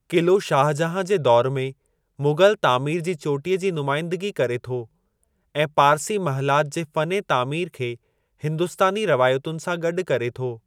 क़िलो शाहजहां जे दौर में मुग़लु तामीर जी चोटीअ जी नुमाइंदगी करे थो ऐं पारसी महलात जे फ़ने तामीर खे हिंदुस्तानी रवायतुनि सां गॾु करे थो।